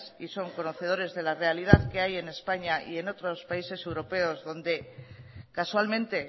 y son conocedores de la realidad que hay en españa y en otros países europeos donde casualmente